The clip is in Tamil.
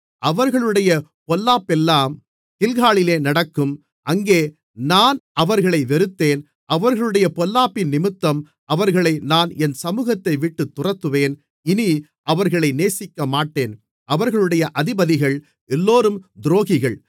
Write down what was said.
அவர்களுடைய பொல்லாப்பெல்லாம் கில்காலிலே நடக்கும் அங்கே நான் அவர்களை வெறுத்தேன் அவர்களுடைய பொல்லாப்பினிமித்தம் அவர்களை நான் என் சமுகத்தைவிட்டுத் துரத்துவேன் இனி அவர்களை நேசிக்கமாட்டேன் அவர்களுடைய அதிபதிகள் எல்லோரும் துரோகிகள்